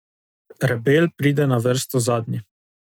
Rebel pride na vrsto zadnji.